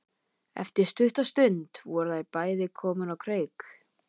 Eftir stutta stund voru þau bæði komin á kreik.